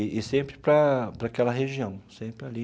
E sempre para para aquela região, sempre ali.